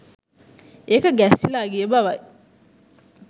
ඒක ගැස්සිලා ගිය බවයි.